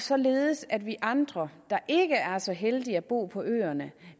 således at vi andre der ikke er så heldige at bo på øerne